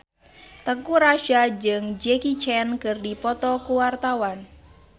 Teuku Rassya jeung Jackie Chan keur dipoto ku wartawan